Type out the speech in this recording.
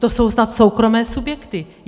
To jsou snad soukromé subjekty.